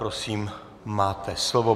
Prosím máte slovo.